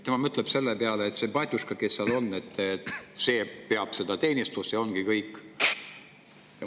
Tema mõtleb selle peale, et see batjuška, kes seal on, peab teenistust, ja ongi kõik.